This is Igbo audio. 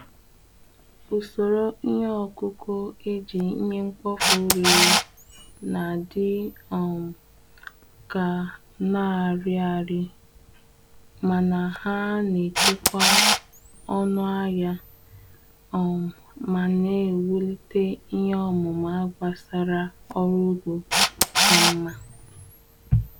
Usoro ihe ọkụkụ eji ihe mkpofu rere na-adị um ka n’ariari mana ha n’echekwa ọnụ ahịa um ma na-ewulite ihe ọmụma gbasara ọrụ ugbo ka mma.